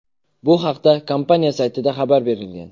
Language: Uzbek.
Bu haqda kompaniya saytida xabar berilgan .